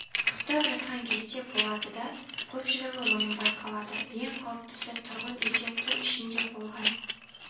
ұйықтап жатқан кезде болады да көпшілігі оянбай қалады ең қауіптісі тұрғын үйде түн ішінде болған